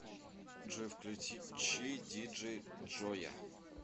джой включи диджей джоя